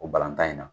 O balɔntan in na